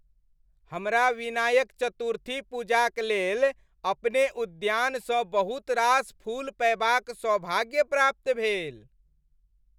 हमरा विनायक चतुर्थी पूजाक लेल अपने उद्यानसँ बहुत रास फूल पएबाक सौभाग्य प्राप्त भेल।